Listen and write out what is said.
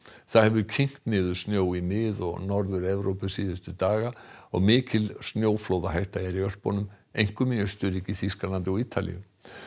það hefur kyngt niður snjó í Mið og Norður Evrópu síðustu daga og mikil snjóflóðahætta er í Ölpunum einkum í Austurríki Þýskalandi og Ítalíu